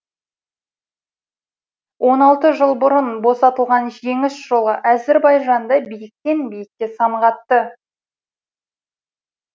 он алты жыл бұрын босталған жеңіс жолы әзірбайжанды биіктен биікке самғатты